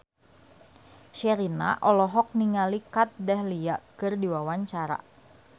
Sherina olohok ningali Kat Dahlia keur diwawancara